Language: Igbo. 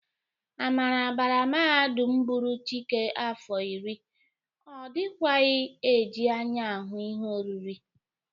Amara bara mahadum bụrụ Chike afọ nri, ọ dịkwaghị e ji anya ahụ ihe oriri.